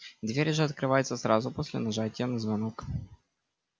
дверь же открывается сразу после нажатия на звонок